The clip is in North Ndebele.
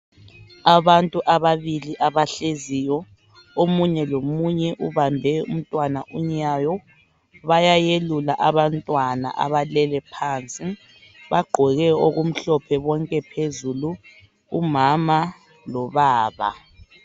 Abantu ababili abahleziyo omunye lomunye ubambe umntwana unyawo bayayelula abantwana abalele pansi. Bagqoke okumhlophe bonke phezulu umama lobaba.